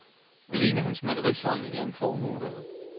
Alene hans malerisamling er en formue værd.